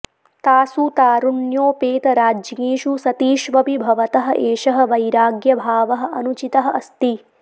तासु तारुण्योपेतराज्ञीषु सतीष्वपि भवतः एषः वैराग्यभावः अनुचितः अस्ति